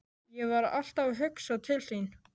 Ég var alltaf að hugsa til þín.